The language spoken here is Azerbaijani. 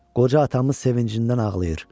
Qoca atamız sevincindən ağlayır.